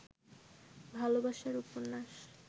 ভালবাসার উপন্যাস